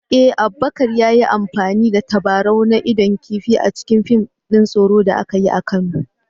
Eh, Abubakar ya yi amfani da tabarau na idon kifi a cikin fim din tsoro da aka yi a Kano